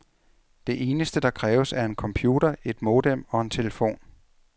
Det eneste, der kræves, er en computer, et modem og en telefon.